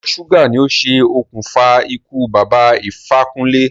Ìtọ̀ ṣúgà ni o ṣe òkùnfà ikú Bàbá Ifákúnlé.